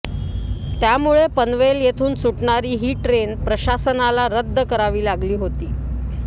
त्यामुळे पनवेल येथून सुटणारी ही ट्रेन प्रशासनाला रद्द करावी लागली होती